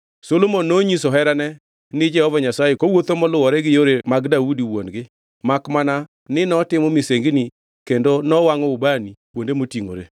Solomon nonyiso herane ni Jehova Nyasaye kowuotho moluwore gi yore mag Daudi wuon-gi makmana ni notimo misengini kendo nowangʼo ubani kuonde motingʼore.